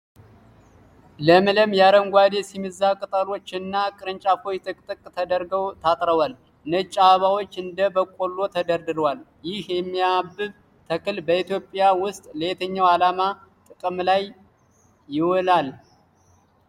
ለምለም አረንጓዴ የሲሚዛ ቅጠሎች እና ቅርንጫፎች ጥቅጥቅ ተደርገው ታጥረዋል። ነጭ አበባዎች እንደ በቆሎ ተደርድረዋል። ይህ የሚያብብ ተክል በኢትዮጵያ ውስጥ ለየትኛው ዓላማ ጥቅም ላይ ይውላል?